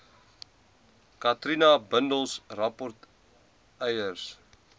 katrina bundels rapportryers